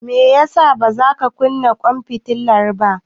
Me yasa bazaka kunna ƙwan fitilar ba.